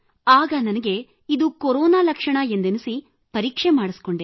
ಆಗ ನನಗೆ ಇದು ಕೊರೋನಾ ಲಕ್ಷಣ ಎಂದೆನಿಸಿ ನಾನು ಪರೀಕ್ಷೆ ಮಾಡಿಸಿಕೊಂಡೆ